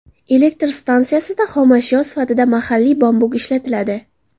Elektr stansiyasida xomashyo sifatida mahalliy bambuk ishlatiladi.